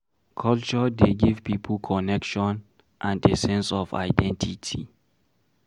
Culture dey give pipo connection and a sense of identity